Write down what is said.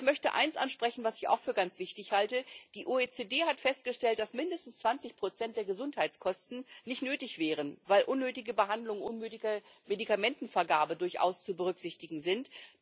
Aber ich möchte eines ansprechen, was ich auch für ganz wichtig halte Die OECD hat festgestellt, dass mindestens 20 der Gesundheitskosten nicht nötig wären, weil unnötige Behandlungen und unnötige Medikamentenvergabe durchaus zu berücksichtigen sind.